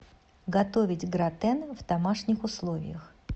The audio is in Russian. готовить гратен в домашних условиях